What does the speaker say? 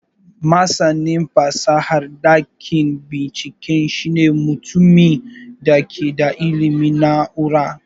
Masanin fasahar dakin bincike shine mutumin da ke da ilimin na'urar.